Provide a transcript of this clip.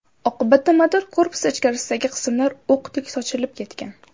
Oqibatda motor korpusi ichkarisidagi qismlar o‘qdek sochilib ketgan.